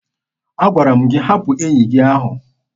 Agwara m gị hapụ enyi gị ahụ!